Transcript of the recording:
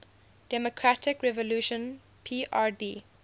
democratic revolution prd